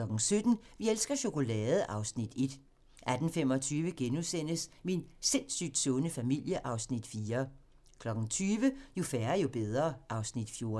8) 17:00: Vi elsker chokolade! (Afs. 1) 18:25: Min sindssygt sunde familie (Afs. 4)* 20:00: Jo færre, jo bedre (Afs. 14)